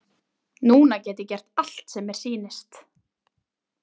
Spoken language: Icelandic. Núna get ég gert allt sem mér sýnist.